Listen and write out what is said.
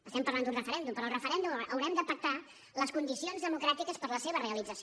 estem parlant d’un referèndum però del referèndum haurem de pactar les condicions democràtiques per a la seva realització